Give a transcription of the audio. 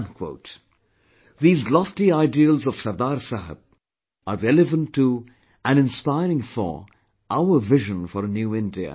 These lofty ideals of Sardar Sahab are relevant to and inspiring for our vision for a New India, even today